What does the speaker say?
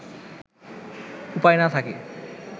উপায় না-থাকে